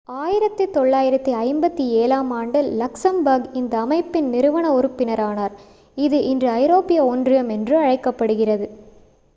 1957-ஆம் ஆண்டில் லக்சம்பர்க் இந்த அமைப்பின் நிறுவன உறுப்பினரானார் இது இன்று ஐரோப்பிய ஒன்றியம் என்று அழைக்கப்படுகிறது